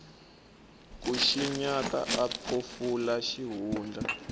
ku xinyata a phofula xihundla